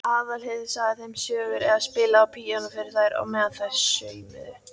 Aðalheiður sagði þeim sögur eða spilaði á píanó fyrir þær á meðan þær saumuðu.